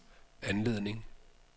anledning